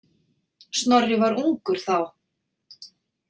Snorri var ungur þá.